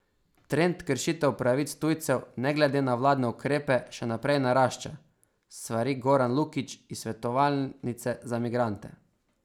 Trend kršitev pravic tujcev ne glede na vladne ukrepe še naprej narašča, svari Goran Lukič iz Svetovalnice za migrante.